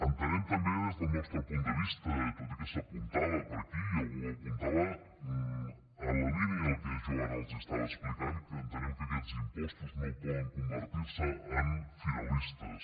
entenem també des del nostre punt de vista tot i que s’apuntava per aquí i algú ho apuntava en la línia del que jo ara els estava explicant que aquests impostos no poden convertirse en finalistes